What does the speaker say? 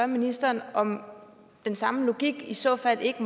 ministeren om den samme logik i så fald ikke